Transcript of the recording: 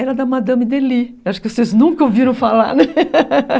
Era da Madame Delis, acho que vocês nunca ouviram falar, né?